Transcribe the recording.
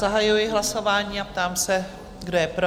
Zahajuji hlasování a ptám se, kdo je pro?